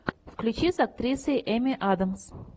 включи с актрисой эми адамс